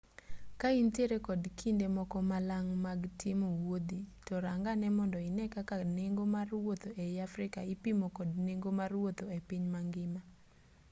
ka intiere kod kinde moko malang' mag timo wuodhi to rang ane mondo ine kaka nengo mar wuotho ei africa ipimo kod nengo mar wuotho e piny mangima